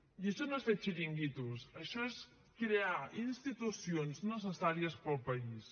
i això no és fer xiringuitos això és crear institucions necessàries per al país